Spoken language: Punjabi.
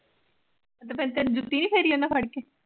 ਦ ਜੁਤੀ ਨੀ ਫੇਰੀ ਉਨਾ ਫੜਕੇ